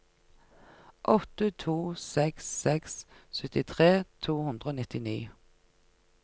åtte to seks seks syttitre to hundre og nittini